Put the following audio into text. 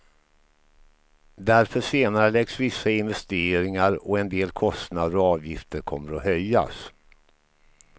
Därför senareläggs vissa investeringar, och en del kostnader och avgifter kommer att höjas.